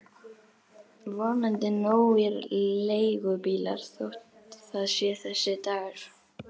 Vonandi nógir leigubílar þótt það sé þessi dagur.